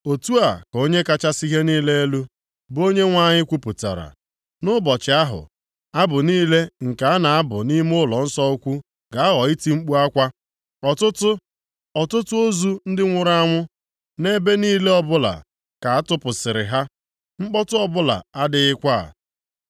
Otu a ka Onye kachasị ihe niile elu, bụ Onyenwe anyị kwupụtara, “Nʼụbọchị ahụ, abụ niile nke a na-abụ nʼime ụlọnsọ ukwu ga-aghọ iti mkpu akwa. Ọtụtụ, ọtụtụ ozu ndị nwụrụ anwụ, nʼebe niile ọbụla ka atụpụsịrị ha! Mkpọtụ ọbụla adịghịkwa!” + 8:3 Ya bụ, ebe ọbụla dere juu